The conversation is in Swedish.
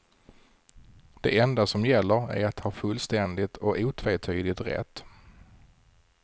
Det enda som gäller är att ha fullständigt och otvetydigt rätt.